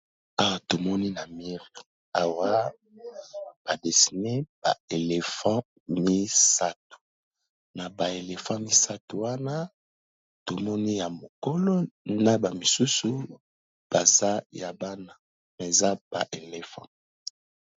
Awa tomoni na mire awa ba desine ba éléphant misato. Na ba elephant misato wana tomoni ya mokolo na ba misusu baza ya bana, eza ba éléphant.